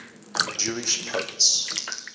jewish poets